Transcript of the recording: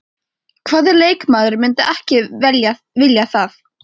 Hvaða leikmaður myndi ekki vilja það?